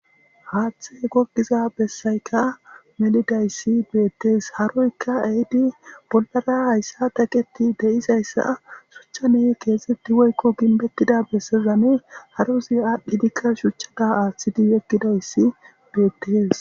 haaththe gogiza bessayka melidayssi beettees haroykka ehidi bollara hayssa teqeto de'izayssa shuchcha ne keexetti woykko ginbettida bessezane harozi aadhdhidikka shuchchada aaththidi yegkidayssi beettees